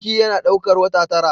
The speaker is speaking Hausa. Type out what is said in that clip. Ciki yana daukar wata tara.